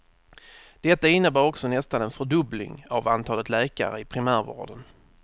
Detta innebär också nästan en fördubbling av antalet läkare i primärvården.